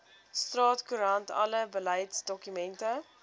staatskoerant alle beleidsdokumente